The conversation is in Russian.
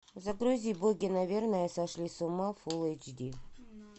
загрузи боги наверное сошли с ума фул эйч ди